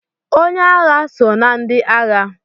Onye agha so na ndị agha